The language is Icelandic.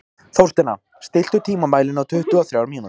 Þórsteina, stilltu tímamælinn á tuttugu og þrjár mínútur.